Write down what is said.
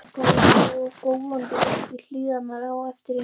Svo stökk hann gólandi upp í hlíðina á eftir hinum.